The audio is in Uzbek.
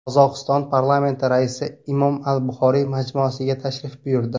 Qozog‘iston parlamenti raisi Imom al-Buxoriy majmuasiga tashrif buyurdi.